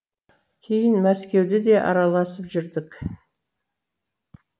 кейін мәскеуде де араласып жүрдік